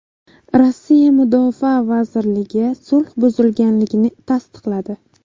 Rossiya Mudofaa vazirligi sulh buzilganligini tasdiqladi.